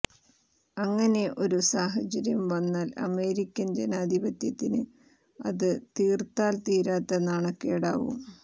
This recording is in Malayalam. അങ്ങനെ ഒരു സാഹചര്യം വന്നാൽ അമേരിക്കൻ ജനാധിപത്യത്തിന് അത് തീർത്താൽ തീരാത്ത നാണക്കേടാവും